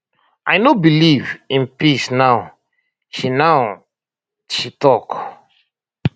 i no believe in peace now she now she tok